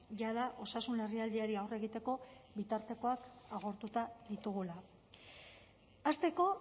jada osasun larrialdiari aurre egiteko bitartekoak agortuta ditugula hasteko